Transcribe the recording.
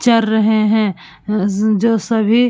चर रहे हैं जो सभी--